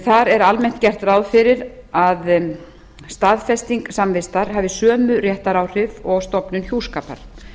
þar er almennt gert ráð fyrir að staðfesting samvistar hafi sömu réttaráhrif og stofnun hjúskapar